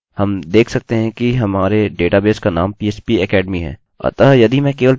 अतः यदि मैं केवल phpacademy टाइप करता हूँ इसे कार्य करना चाहिए